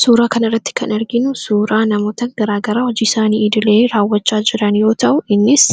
Suuraa kana irratti kan arginu suuraa namoota garaagaraa hojii isaanii iidilee raawwachaa jiran yoo ta'u innis